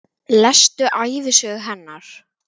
Lestu ævisögu hennar!